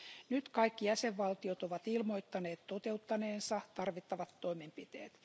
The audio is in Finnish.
Nyt kaikki jäsenvaltiot ovat ilmoittaneet toteuttaneensa tarvittavat toimenpiteet.